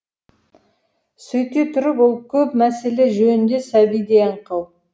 сөйте тұрып ол көп мәселе жөнінде сәбидей аңқау